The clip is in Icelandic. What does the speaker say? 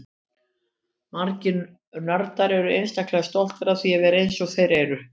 Margir nördar eru einstaklega stoltir af því að vera eins og þeir eru.